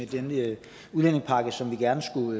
det vil jeg gerne